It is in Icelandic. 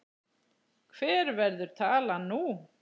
Hver verður talan nú?